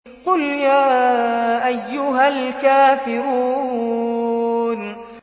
قُلْ يَا أَيُّهَا الْكَافِرُونَ